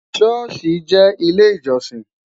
shosi jẹ ilé ìjósìn